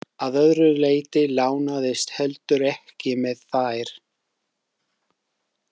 Að öðru leyti lánaðist heldur ekki með þær.